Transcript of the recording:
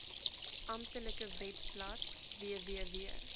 amptelike webblad www